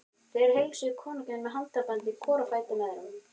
Þeir heilsuðu konungi með handabandi hvor á fætur öðrum.